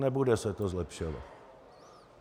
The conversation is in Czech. Nebude se to zlepšovat.